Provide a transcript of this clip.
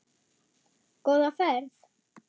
Góða ferð.